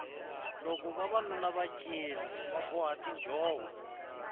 loko vavanuna va cina va boha tinjhovo